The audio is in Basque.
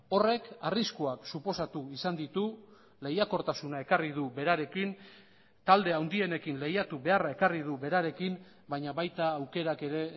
horrek arriskuak suposatu izan ditu lehiakortasuna ekarri du berarekin talde handienekin lehiatu beharra ekarri du berarekin baina baita aukerak ere